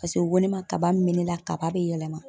Paseke o ko ne ma kaba min me ne la kaba be yɛlɛma